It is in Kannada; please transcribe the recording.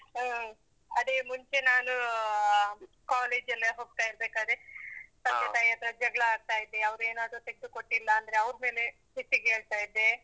ಹ್ಮ್. ಅದೇ ಮುಂಚೆ ನಾನು, ಅಹ್ college ಎಲ್ಲ ಹೋಗ್ತಾ ಇರ್ಬೇಕಾದ್ರೆ ತಂದೆ ತಾಯಿ ಹತ್ರ ಜಗ್ಳ ಆಡ್ತಾ ಇದ್ದೆ. ಅವ್ರೇನಾದ್ರೂ ತೆಗ್ದು ಕೊಟ್ಟಿಲ್ಲಾಂದ್ರೇ ಅವರ್ಮೇಲೆ ಸಿಟ್ಟಿಗೇಳ್ತಾ ಇದ್ದೆ.